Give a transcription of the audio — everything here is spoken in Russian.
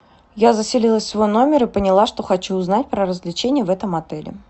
я заселилась в свой номер и поняла что хочу узнать про развлечения в этом отеле